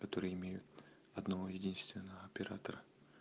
которые имеют одного-единственного оператора